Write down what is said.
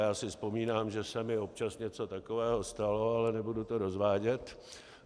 Já si vzpomínám, že se mi občas něco takového stalo, ale nebudu to rozvádět.